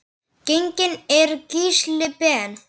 Genginn er Gísli Ben.